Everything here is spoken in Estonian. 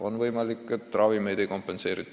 On võimalik, et ravimite tasu ei kompenseerita.